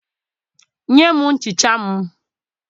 Nye m nchicha m